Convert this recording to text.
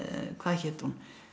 hvað hét hún